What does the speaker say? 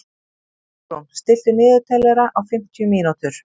Álfrún, stilltu niðurteljara á fimmtíu mínútur.